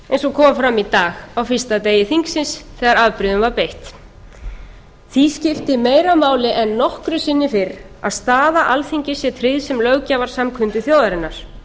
kom fram í dag á fyrsta degi þingsins þegar afbrigðum var beitt því skiptir meira máli en nokkru sinni fyrr að staða alþingis sé tryggð sem löggjafarsamkundu þjóðarinnar